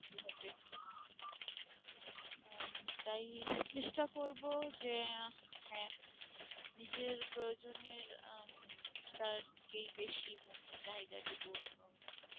আহ তাই চেষ্টা করবো যে আহ হ্যাঁ নিজের প্রয়োজনের আহ উম তার কেই বেশি মুখ্য চাহিদা